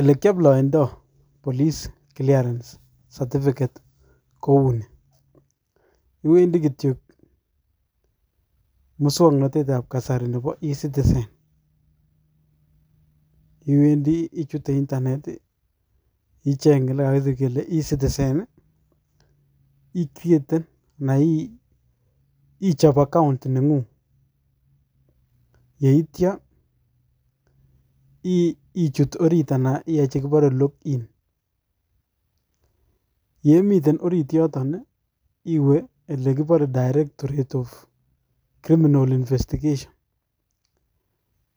Ole kioploendi police clearance certificate kou ni, iwendi kityok musoknotet ab kasari nebo e citizen ichute internet , icheng' olekakisir kole e citizen, icreaten ana ichop account neng'ung'. Yeityo, ichut orit ana iyai chekipore log in. Yeimiten orit yoton , iwee olekipore directorate of criminal investigation